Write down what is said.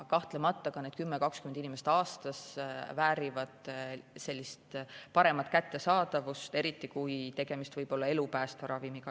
Kahtlemata ka need 10–20 inimest aastas väärivad paremat ravi kättesaadavust, eriti kui tegemist võib olla elupäästva ravimiga.